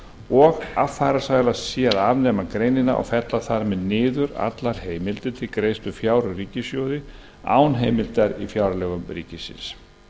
og affarasælast sé að afnema greinina og fella þar með niður allar heimildir til greiðslu fjár úr ríkissjóði án heimildar í fjárlögum ríkisins